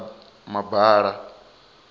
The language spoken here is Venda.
mabala